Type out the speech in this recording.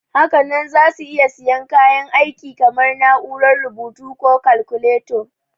Hakanan za su iya siyan kayan aiki kamar na'urar rubutu ko kalkuleta.